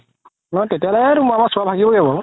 তেতিয়া হ'লে বাৰু